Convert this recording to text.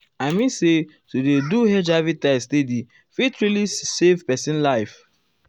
i mean say to dey do hiv test steady fit really save pesin life.